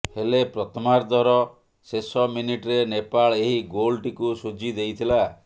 ହେଲେ ପ୍ରଥମାର୍ଧର ଶେଷ ମିନିଟ୍ରେ ନେପାଳ ଏହି ଗୋଲ୍ଟିକୁ ଶୁଝି ଦେଇଥିଲା